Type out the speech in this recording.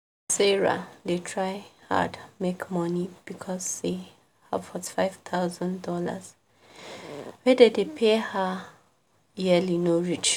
sarah dey try hard make money because say her $45000 wey dem dey pay her yearly no reach